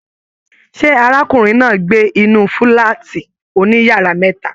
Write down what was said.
Ṣe arákùnrin náà n gbé inú fúlàátí òní yàrá mẹta?